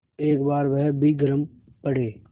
एक बार वह भी गरम पड़े